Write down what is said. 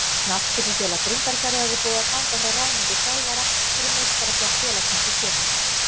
Knattspyrnufélag Grundarfjarðar er búið að ganga frá ráðningu þjálfara fyrir meistaraflokk félagsins í sumar.